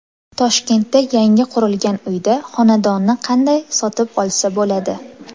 Toshkentda yangi qurilgan uyda xonadonni qanday sotib olsa bo‘ladi?